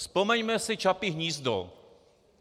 Vzpomeňme si Čapí hnízdo.